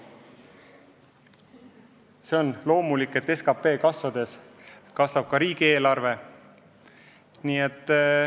See on loomulik, et SKP kasvades kasvab ka riigieelarve.